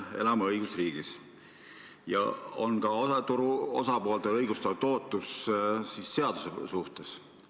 Me elame õigusriigis, kus turu osapooltel on õigustatud ootused seaduste kehtimise suhtes.